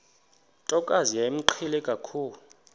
ntokazi yayimqhele kakhulu